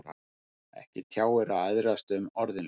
Ekki tjáir að æðrast um orðinn hlut.